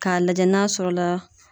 Ka lajɛ n'a sɔrɔ la